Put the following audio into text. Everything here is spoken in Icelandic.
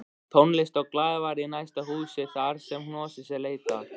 Tónlist og glaðværð í næsta húsi þarsem hnossins er leitað